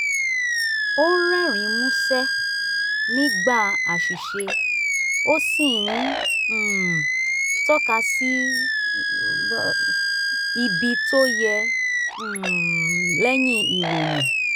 ó ń rerin músẹ́ nígbà àṣìṣe ó sì ń um tọ́ka sí ibi tó yẹ um lẹ́yìn ìròyìn